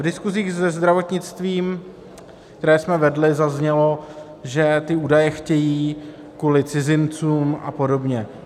V diskusích se zdravotnictvím, které jsme vedli, zaznělo, že ty údaje chtějí kvůli cizincům a podobně.